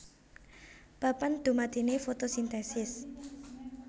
Papan dumadiné fotosintesis